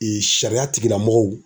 sariya tigilamɔgɔw.